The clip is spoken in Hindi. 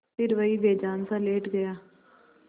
फिर वहीं बेजानसा लेट गया